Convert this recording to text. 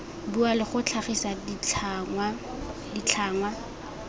bua le go tlhagisa ditlhangwa